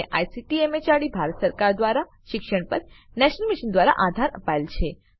જેને ICT MHRD Bharat સરકાર મારફતે શિક્ષણ પર નેશનલ મિશન દ્વારા આધાર અપાયેલ છે